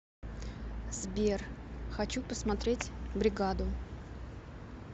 сбер хочу посмотреть бригаду